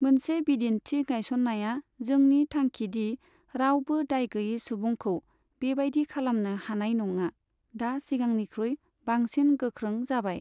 मोनसे बिदिन्थि गायसन्नाया जोंनि थांखिदि रावबो दायगैयै सुबुंखौ बेबायदि खालामनो हानाय नङा, दा सिगांनिख्रुइ बांसिन गोख्रों जाबाय।